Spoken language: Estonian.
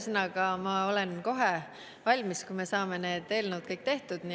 Ja ma olen kohe valmis, kui me saame need eelnõud kõik tehtud.